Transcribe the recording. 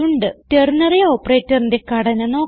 ternary Operatorന്റെ ഘടന നോക്കാം